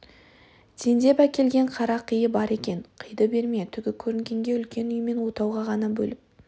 тендеп әкелген қара киы бар екен қиды берме түгі көрінгенге үлкен үй мен отауға ғана бөліп